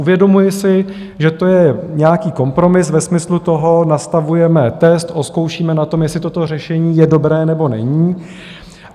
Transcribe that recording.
Uvědomuji si, že to je nějaký kompromis, ve smyslu toho nastavujeme test, ozkoušíme na tom, jestli toto řešení je dobré, nebo není.